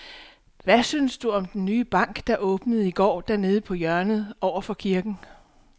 Hvad synes du om den nye bank, der åbnede i går dernede på hjørnet over for kirken?